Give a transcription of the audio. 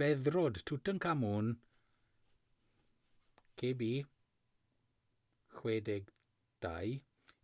beddrod tutankhamun kb62.